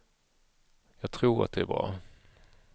Jag tror att det är bra.